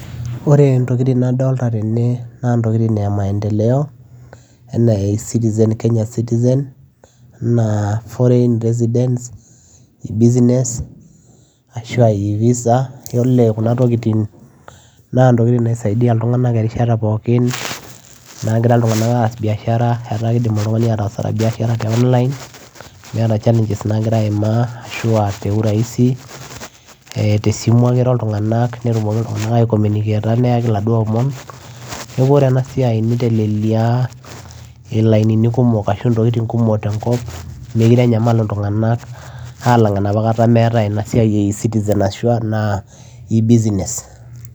Ore ntokitin nadolita tene naa ntokitin eee maendeleo enaa e citizen foreign residents e business e visitor oree kuna tokitin naa kisaidia ilntunganak erishata pookin naagira ilntunganak aas biashara amuu idim atasa biashara te online teurahisi amuu te simu ake iro ilntunganak nayauu ilomom neekuu oree ena siai nitelelia intokitin kumok tenkop meekure enyamal ilntunganak alang enapa kata metae e business e citizen